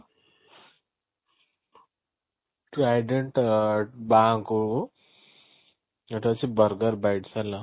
trident ଆଁ ବାଁକୁ ଯୋଉଟା ହଉଛି burger bites ହେଲା